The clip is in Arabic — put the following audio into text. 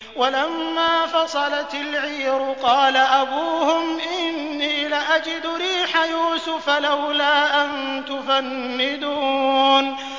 وَلَمَّا فَصَلَتِ الْعِيرُ قَالَ أَبُوهُمْ إِنِّي لَأَجِدُ رِيحَ يُوسُفَ ۖ لَوْلَا أَن تُفَنِّدُونِ